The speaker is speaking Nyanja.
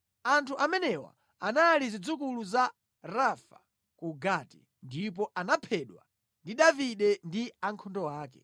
Anthu amenewa anali zidzukulu za Rafa ku Gati, ndipo anaphedwa ndi Davide ndi ankhondo ake.